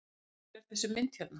Af hverju er þessi mynd hérna?